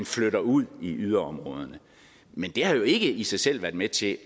flytter ud i yderområderne men det har jo ikke i sig selv været med til